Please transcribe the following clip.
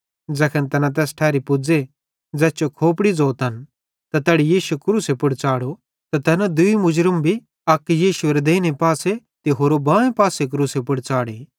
ज़ैखन तैना तैस ठैरी पुज़े ज़ैस जो खोपड़ी ज़ोतन त तैड़ी यीशु क्रूसे पुड़ च़ाढ़ो ते तैना दूई मुर्ज़मन भी एक्की यीशु एरे देइने पासे ते होरि बांए पासे क्रूसे पुड़ च़ाढ़े